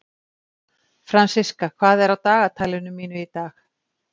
Fransiska, hvað er á dagatalinu mínu í dag?